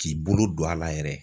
K'i bolo don a la yɛrɛ